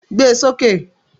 Gbé e sókè!